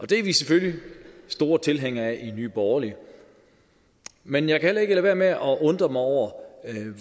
det er vi selvfølgelig store tilhængere af i nye borgerlige men jeg kan heller ikke lade være med at undre mig over